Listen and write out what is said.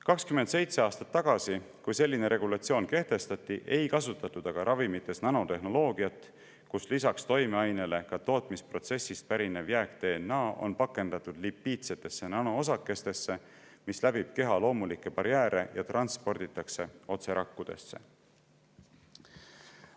27 aastat tagasi, kui selline regulatsioon kehtestati, ei kasutatud aga ravimites nanotehnoloogiat, kus lisaks toimeainele pakendatakse ka tootmisprotsessist pärinev jääk-DNA lipiidsetesse nanoosakestesse, mis läbivad keha loomulikke barjääre ja transporditakse otse rakkudesse.